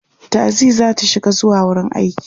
taxi zata shiga zuwa wurin aiki